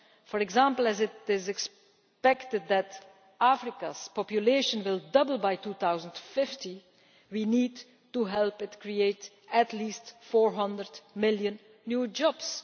For example, as it is expected that Africa's population will double by 2050, we need to help it create at least 400 million new jobs.